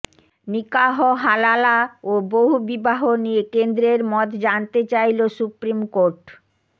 নিকাহ হালালা ও বহুবিহাহ নিয়ে কেন্দ্রের মত জানতে চাইল সুপ্রিম কোর্ট